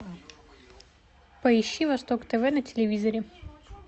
поищи восток тв на телевизоре